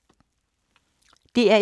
DR1